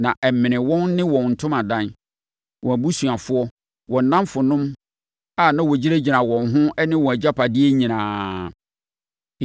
na ɛmenee wɔn ne wɔn ntomadan, wɔn abusuafoɔ, wɔn nnamfonom a na wɔgyinagyina wɔn ho ne wɔn agyapadeɛ nyinaa.